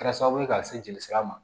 Kɛra sababu ye ka se jeli sira ma